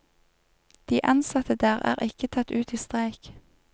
De ansatte der er ikke tatt ut i streik.